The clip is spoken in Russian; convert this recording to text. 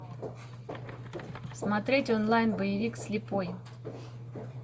смотреть онлайн боевик слепой